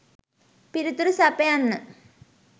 පිළිතුරු සපයන්න.